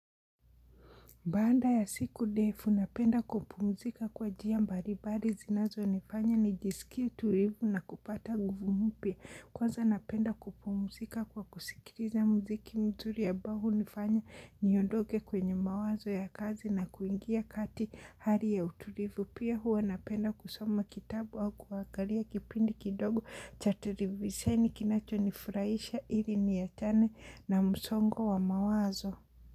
Baada ya siku ndefu napenda kupumzika kwa njia mbalimbali zinazonifanya nijisikie tulivu na kupata nguvu mpya. Kwanza napenda kupumzika kwa kusikiliza mziki mzuri ambayo hunifanya niondoke kwenye mawazo ya kazi na kuingia kati hali ya utulivu. Pia hua napenda kusoma kitabu au kuangalia kipindi kidogo cha televisheni kinacho nifurahisha ili niachane na msongo wa mawazo.